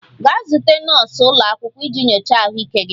Gaa zute nọọsụ ụlọ akwụkwọ iji nyochaa ahụike gị!